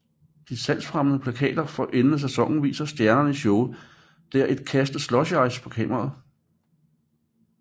De salgsfremmende plakater for anden sæson viser stjernerne i showet der et kaste slushice på kameraet